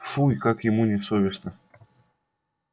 фу и как ему не совестно